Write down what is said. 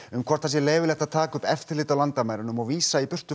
um hvort það sé leyfilegt að taka upp eftirlit á landamærunum og vísa